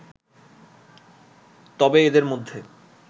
তবে এদের মধ্যে